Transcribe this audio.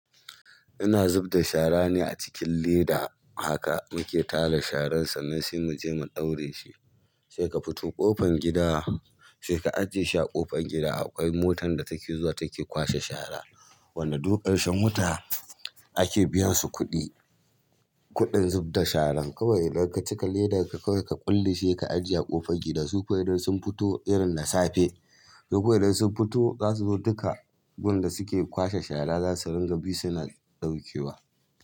Ina zubda shara ne a cikin leda haka muke tara sharan sannan sai mu je mu ɗaure shi. Sai ka fito ƙofan gida, sai ka ajiye shi a ƙofan gida akwai motan da take zuwa take kwashe shara. Wadda duk ƙarshen wata ake biyan su kuɗi, kuɗin zub da sharan. Kawai idan ka cika ledar ka kawai ka ƙulle shi ka ajiye a ƙofan gida su kawai idan sun fito irin da safe. Duk idan sun fito za su zo duka, gun da suke kwashe shara za su ringa bi suna ɗaukewa.